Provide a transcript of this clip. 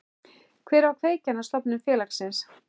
Hver var kveikjan að stofnun félagsins?